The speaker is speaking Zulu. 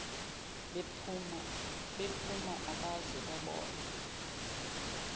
bephuma abaze babona